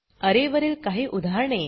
अरे वरील काही उदाहरणे